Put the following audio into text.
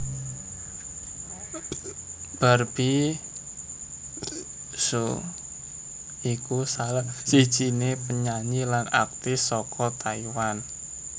Barbie hsu iku salah sijiné penyanyi lan aktris saka Taiwan